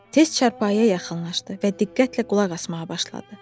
Tez çarpayıya yaxınlaşdı və diqqətlə qulaq asmağa başladı.